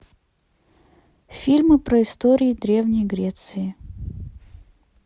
фильмы про истории древней греции